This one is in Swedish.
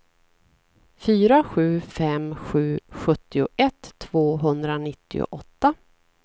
fyra sju fem sju sjuttioett tvåhundranittioåtta